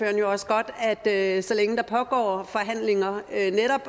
jo også godt at at så længe der pågår forhandlinger